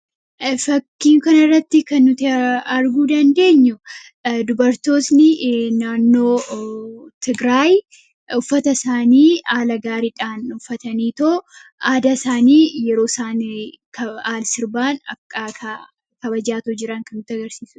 Fakkiin kana irratti kan nuti arguu dandeenyu dubartooni naannoo Tigiraay uffata isaanii haala gaariidhaan uffataniitoo aadaa isaanii yeroo isaanii sirbaan akkaataa kabajaataa jiran kan nutti agarsiisudha.